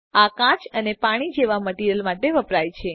આ કાચ અને પાણી જેવા મટીરીઅલ માટે વપરાય છે